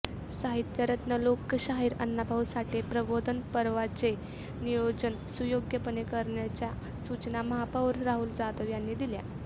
साहित्यरत्न लोकशाहीर अण्णाभाऊ साठे प्रबोधन पर्वाचे नियोजन सुयोग्यपणे करण्याच्या सूचना महापौर राहूल जाधव यांनी दिल्या